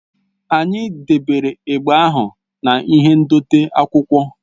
Anyị debere igbe ahụ na-ihe ndote akwụkwọ